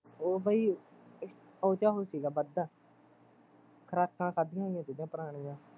ਉਹ ਬਾਈ, ਉਹਦੇ ਚ ਉਹ ਸੀਗਾ ਵਾਧਾ ਖੁਰਾਕਾਂ ਖਾਧੀਆ ਹੋਈਆਂ ਸੀਗੀਆ ਪੁਰਾਣੀਆਂ